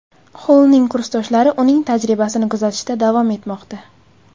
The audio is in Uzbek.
Xollning kursdoshlari uning tajribasini kuzatishda davom etmoqda.